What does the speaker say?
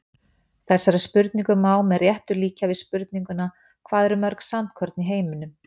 Þessari spurningu má með réttu líkja við spurninguna Hvað eru mörg sandkorn í heiminum?